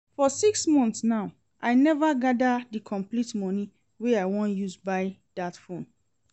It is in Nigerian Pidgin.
For six months now I never gather the complete money wey I wan use buy dat phone